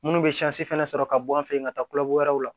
Munnu bɛ fɛnɛ sɔrɔ ka bɔ an fɛ yen ka taa kulokoro la